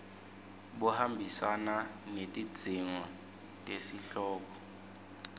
buhambisana netidzingo tesihloko